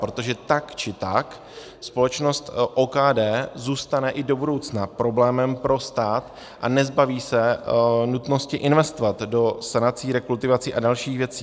Protože tak či tak společnost OKD zůstane i do budoucna problémem pro stát a nezbaví se nutnosti investovat do sanací, rekultivací a dalších věcí.